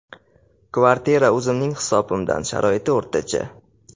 Kvartira o‘zimning hisobimdan, sharoiti o‘rtacha.